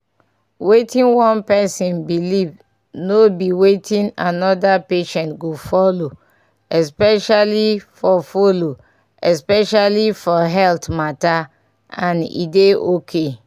wetin one person believe no be wetin another patient go follow especially for follow especially for health. matter and e dey okay